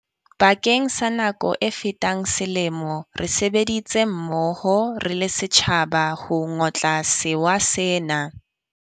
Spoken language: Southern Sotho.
Bakeng sa nako e fetang selemo, re sebeditse mmoho re le setjhaba ho ngotla sewa sena.